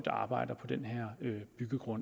en kort